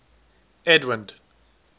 edwind